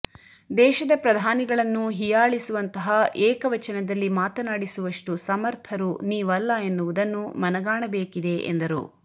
ದೇಶದ ಪ್ರಧಾನಿಗಳನ್ನು ಹಿಯಾಳಿಸುವಂತಹ ಏಕವಚನದಲ್ಲಿ ಮಾತನಾಡಿಸುವಷ್ಟು ಸಮರ್ಥರು ನಿವಲ್ಲ ಎನ್ನುವುದನ್ನು ಮನಗಾಣಬೇಕಿದೆ ಎಂದರು